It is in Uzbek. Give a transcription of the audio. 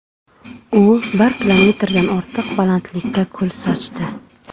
U bir kilometrdan ortiq balandlikka kul sochdi.